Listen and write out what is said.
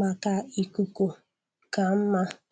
maka ikuku ka mma.